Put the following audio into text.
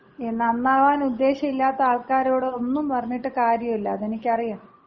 നന്നാവാനുദ്ദേശമില്ലാത്ത ആൾക്കാരോട് ഒന്നും പറഞ്ഞിട്ട് കാര്യവില്ല. അതെനിക്കറിയാം.